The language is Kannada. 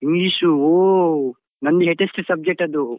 English ಉ ಹೋ, ನಂದು hatest subject ಅದು.